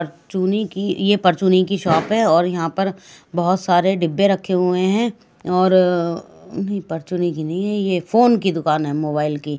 चुनी की ये परचूनी की शॉप है और यहां पर बहोत सारे डीब्बे रखे हुए हैं और नहीं परचुन्नी की नहीं है ये फोन की दुकान है मोबाइल की--